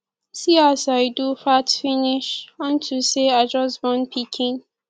see as i do fat finish unto say i just born pikin